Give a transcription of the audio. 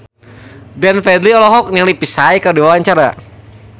Glenn Fredly olohok ningali Psy keur diwawancara